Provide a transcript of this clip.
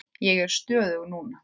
Ég er stöðug núna.